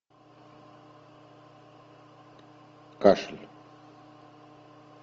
кашель